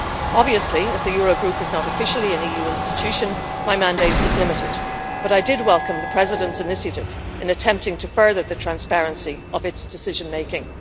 Obviously, as the Eurogroup is not officially an EU institution, my mandate is limited, but I did welcome the President's initiative in attempting to further the transparency of its decision making.